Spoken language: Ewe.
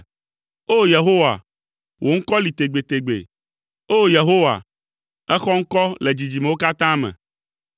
O! Yehowa, wò ŋkɔ li tegbetegbe, o Yehowa, èxɔ ŋkɔ le dzidzimewo katã me.